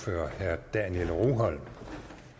det